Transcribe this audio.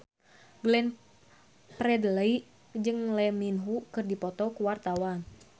Glenn Fredly jeung Lee Min Ho keur dipoto ku wartawan